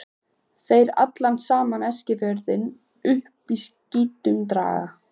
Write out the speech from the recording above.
Þeir allan saman Eskifjörð upp úr skítnum draga.